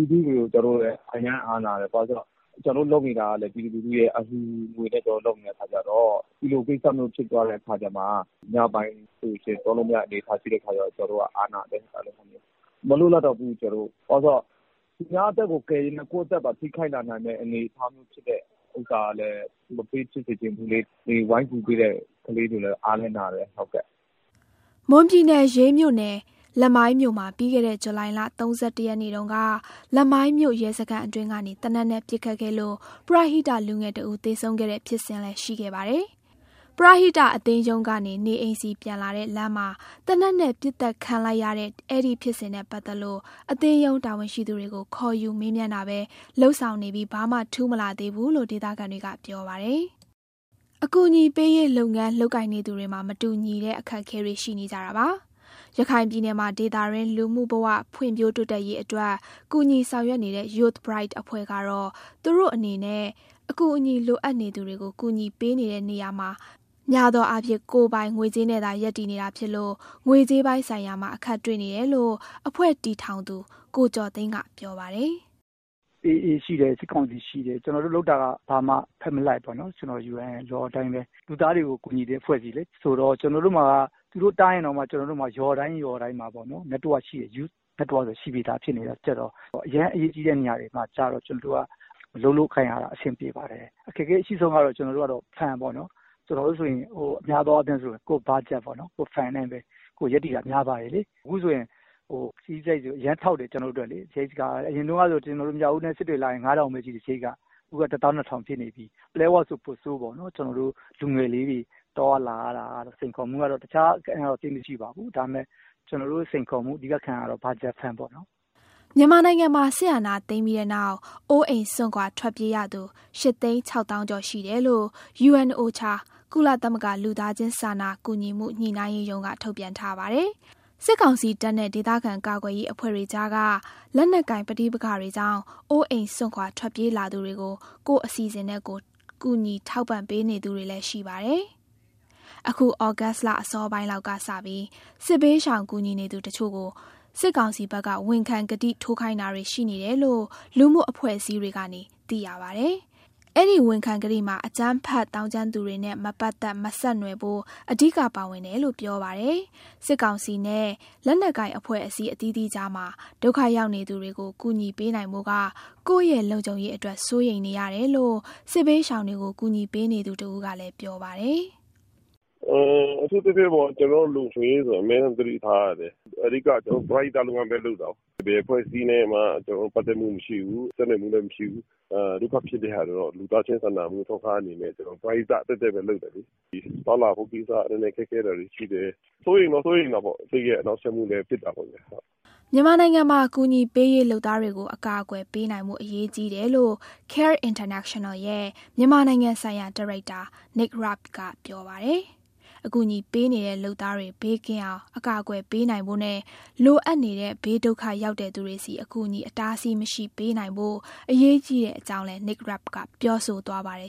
ည်း ပြည်သူလူထုရဲ့ အလှူငွေနဲ့လုပ်တာဆိုတော့ ညပိုင်းသွားလို့မရတဲ့အနေအထား ဖြစ်တဲ့အခါကျတော့ ကျနော်တို့ကအားနာတယ်။ ဘာလို့ဆို သူများအသက်ကိုကယ်ရင်းနဲ့ ကိုယ့်အသက်ကိုထိခိုက်လာနိုင်တဲ့ အနေအထားမျိုး ရှိတဲ့ဟာကလည်း ဝိုင်းကူပေးနေတဲ့ကလေးတွေကို မပေးဖြစ်စေချင်ဘူးလေ။" မွန်ပြည်နယ်၊ ရေးမြို့နယ်၊ လမိုင်းမြို့မှာ ပြီးခဲ့တဲ့ ဇူလိုင်လ ၃၁ ရက်နေ့တုန်းက လမိုင်းမြို့ရဲစခန်းအတွင်းကနေ သေနတ်နဲ့ပစ်ခတ်ခဲ့လို့ ပရဟိတလူငယ်တဦး သေဆုံးခဲ့တဲ့ဖြစ်စဉ်လည်း ရှိခဲ့ပါတယ်။ ပရဟိတအသင်းရုံးကနေ နေအိမ်ဆီပြန်လာတဲ့ လမ်းမှာ သေနတ်နဲ့ပစ်သတ်ခံလိုက်ရတဲ့ အဲဒီဖြစ်စဉ် နဲ့ပတ်သက်လို့ အသင်းရုံးတာဝန်ရှိသူတွေကို ခေါ်ယူမေးမြန်းတာပဲ လုပ်ဆောင်နေပြီး ဘာမှထူးမလာသေးဘူးလို့ ဒေသခံတွေက ပြောပါတယ်။ အကူအညီပေးရေး လုပ်ငန်းလုပ်ကိုင်နေသူတွေမှာ မတူညီတဲ့ အခက်အခဲတွေ ရှိနေကြတာပါ။ ရခိုင်ပြည်နယ်မှာ ဒေသတွင်းလူမှုဘဝ ဖွံ့ဖြိုးတိုးတက်ရေးအတွက် ကူညီဆောင်ရွက်နေတဲ့ Youth Bright အဖွဲ့ကတော့ သူတို့အနေနဲ့ အကူအညီလိုအပ်နေသူတွေကို ကူညီပေးနေတဲ့နေရာမှာ များသောအားဖြင့် ကိုယ်ပိုင်ငွေကြေးနဲ့သာ ရပ်တည်နေတာဖြစ်လို့ ငွေကြေးပိုင်းဆိုင်ရာမှာ အခက်တွေ့နေတယ်လို့ အဖွဲ့တည်ထောင်သူ ကိုကျော်သိန်းက ပြောပါတယ်။ "ရခိုင်မှာက AA ရှိတယ်၊ စစ်ကောင်စီ ရှိတယ်။ ကျနော်တို့လုပ်တာက ဘာမှဘက်မလိုက်ဘူး။ UN ရဲ့ Law အတိုင်းပဲ လူသားတွေကို ကူညီတဲ့အဖွဲ့အစည်းလေ။ ဆိုတော့ သူတို့တားရင်တောင်မှ ကျနော်တို့မှာက ရွာတိုင်းရွာတိုင်းမှာ Youth Network ဆိုတာ ရှိနေပြီးသားဆိုတော့ အရမ်းအရေးကြီးတဲ့ နေရာမျိုးမှာ အလုပ်လုပ်ကိုင်ရတာ အဆင်ပြေပါတယ်။ အခက်အခဲအရှိဆုံးကတော့ Fund ပေါ့နော်။ ကျနော်တို့ဆိုရင် များသောအားဖြင့် ကိုယ့် Budget နဲ့ပဲ ရပ်တည်တာများပါတယ်။ အခုဆိုရင် ခရီးစရိတ်က အရမ်းထောက်တယ်။ အရင်ကဆို မြောက်ဦးနဲ့ စစ်တွေလာရင် ၅,၀၀၀ ပဲ ရှိတယ်။ အခုက ၁၂,၀၀၀ ဖြစ်နေပြီ။ ပလက်ဝဆို ပိုဆိုးပေါ့။ ကျနော်တို့လူငယ်လေးတွေ သွားရလာရတာတော့ စိန်ခေါ်မှုကတော့ တခြားသိပ်မရှိပါဘူး။ ဒါပေမဲ့ အဓိကစိန်ခေါ်မှုက Fund ပေါ့နော်။" မြန်မာနိုင်ငံမှာ စစ်အာဏာသိမ်းပြီးတဲ့နောက် အိုးအိမ်စွန့်ခွာ ထွက်ပြေးရသူ ၈ သိန်း၊ ၇ သောင်း နီးပါးရှိတယ်လို့ UNOCHA ကုလသမဂ္ဂ လူသားချင်းစာနာကူညီမှု ညှိနှိုင်းရေးရုံးက ထုတ်ပြန်ထားပါတယ်။ စစ်ကောင်စီတပ်နဲ့ ဒေသခံကာကွယ်ရေး အဖွဲ့တွေကြားက လက်နက်ကိုင်ပဋိပက္ခတွေကြောင့် အိုးအိမ်စွန့်ခွာ ထွက်ပြေးလာသူတွေကို ကိုယ့်အစီအစဉ်နဲ့ကိုယ် ကူညီထောက်ပံ့ပေးနေသူတွေလည်း ရှိပါတယ်။ အခု ဩဂုတ်လအစောပိုင်းလောက်က စပြီး စစ်ဘေးရှောင်ကူညီနေသူတချို့ကို စစ်ကောင်စီဘက်က ဝန်ခံကတိထိုးခိုင်းတာတွေ ရှိနေတယ်လို့ လူမှုအဖွဲ့အစည်းတွေကနေ သိရပါတယ်။ အဲဒီ ဝန်ခံကတိမှာ အကြမ်းဖက်သောင်းကျန်းသူတွေနဲ့ မပတ်သက်၊ မဆက်နွယ်ဖို့ အဓိကပါဝင်တယ်လို့ ပြောပါတယ်။ စစ်ကောင်စီနဲ့ လက်နက်ကိုင်အဖွဲ့အစည်း အသီးသီးကြားမှာ ဒုက္ခရောက်နေသူတွေကို ကူညီပေးနိုင်ဖို့က ကိုယ့်ရဲ့လုံခြုံရေးအတွက် စိုးရိမ်နေရတယ်လို့ စစ်ဘေးရှောင်တွေကို ကူညီပေးနေသူတဦးက ပြောပါတယ်။ "အထူးသဖြင့် ကျနော်တို့ရဲ့ လုံခြုံရေးကို အမြဲသတိထားရတယ်။ အဓိက ကျနော်တို့က ပရဟိတလုပ်ငန်းပဲ လုပ်တာ။ ဘယ်အဖွဲ့အစည်းနဲ့မှ ကျနော်တို့ ပတ်သက်မှုမရှိဘူး၊ ဆက်နွယ်မှုလည်း မရှိဘူး။ ဒုက္ခဖြစ်နေသူတွေကို လူသားချင်းစာနာမှု အထောက်အပံ့အနေနဲ့ ပရဟိတပဲလုပ်တာလေ။ သွားလာမှုကိစ္စ နည်းနည်းခက်ခဲတာတွေ ရှိတယ်။ စိုးရိမ်တော့ စိုးရိမ်တာပေါ့။ စိတ်ရဲ့ နှောင့်ယှက်မှုလည်း ဖြစ်တာပေါ့ဗျာ။" မြန်မာနိုင်ငံမှာ အကူအညီပေးရေး လုပ်သားတွေကို အကာအကွယ်ပေးနိုင်ဖို့ အရေးကြီးတယ်လို့ CARE International ရဲ့ မြန်မာနိုင်ငံဆိုင်ရာ ဒါရိုက်တာ Nate Rabe က ပြောပါတယ်။ အကူအညီပေးနေတဲ့ လုပ်သားတွေ ဘေးကင်းအောင် အကာအကွယ်ပေးနိုင်ဖို့နဲ့ လိုအပ်နေတဲ့ ဘေးဒုက္ခရောက်တဲ့သူတွေဆီ အကူအညီ အတားအဆီးမရှိ ပေးနိုင်ဖို့ အရေးကြီးတဲ့အကြောင်းလည်း Nate Rabe က ပြောဆိုသွားပါတယ်